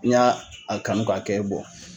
N y'a a kanu k'a kɛ